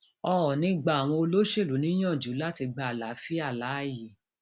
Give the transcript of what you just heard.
óòní gba àwọn olóṣèlú níyànjú láti gba àlàáfíà láàyè